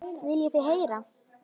Viljið þið heyra?